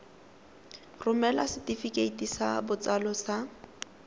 romela setefikeiti sa botsalo sa